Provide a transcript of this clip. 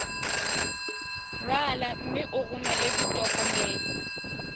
rala mme o romele ditokomene